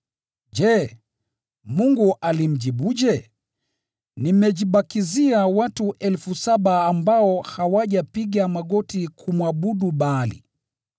Je, Mungu alimjibuje? “Nimejibakizia watu elfu saba ambao hawajapiga magoti kumwabudu Baali.”